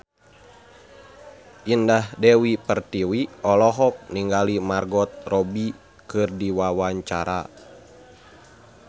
Indah Dewi Pertiwi olohok ningali Margot Robbie keur diwawancara